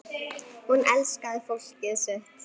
Hún elskaði fólkið sitt.